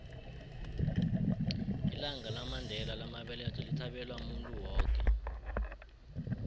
ilanga lamandela lamabeletho lithabelwa muntu woke